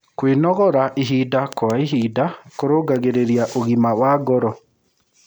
Kwĩnogora ĩhĩda kwa ĩhĩda kũrũngagĩrĩrĩa ũgima wa ngoro